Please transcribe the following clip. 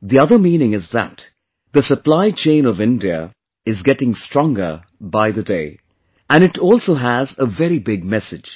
the other meaning is that the supply chain of India is getting stronger by the day... and it also has a very big message